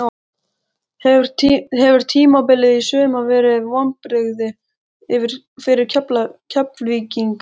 Hefur tímabilið í sumar verið vonbrigði fyrir Keflvíkinga?